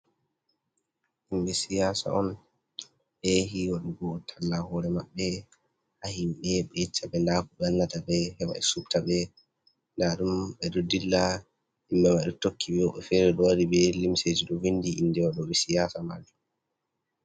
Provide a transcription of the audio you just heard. Himɓe siyasa on, ɓeyehi waɗugo talla hore maɓɓe ha himɓe, ɓe yecca ɓe nda ko ɓe wannata ɓe heɓa ɓe subta ɓe, nda ɗum ɓe ɗo dilla himɓe mai ɗo tokki ɓe, woɓɓe fere ɗo wari be limseji ɗo vindi inde waɗo ɓe siyasa man.